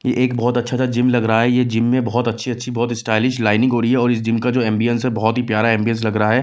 ये एक बहुत अच्छा सा जिम लग रहा है ये जिम में बहुत अच्छी-अच्छी बहुत स्टाइलिश लाइनिंग हो रही है और इस जिम का जो एंबियंस है बहुत ही प्यारा एंबियंस लग रहा है।